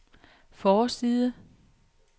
forside